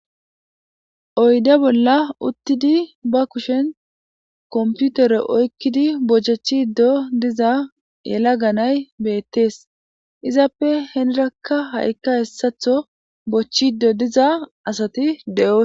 oyde bolla uttidi ba kushen komputere oykkidi bohcjachiddo diza yela ganay beettees izappe henrakka ha7ikka hessatho bochchido diza asati de7yo